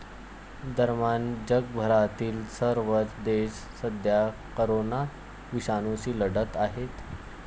दरम्यान, जगभरातील सर्वच देश सध्या करोना विषाणूशी लढत आहेत.